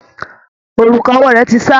Òrùka owó rẹ̀ ti ṣá.